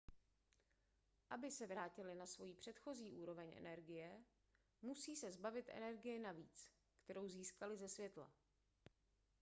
aby se vrátily na svou předchozí úroveň energie musí se zbavit energie navíc kterou získaly ze světla